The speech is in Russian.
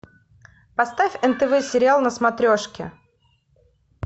поставь нтв сериал на смотрешке